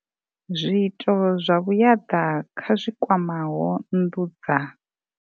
Zwiito zwa vhuaḓa kha zwi kwamaho nnḓu dza.